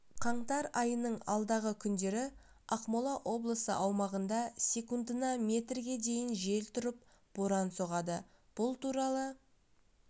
қаңтар айының алдағы күндері ақмола облысы аумағында секундына метрге дейін жел тұрып боран соғады бұл туралы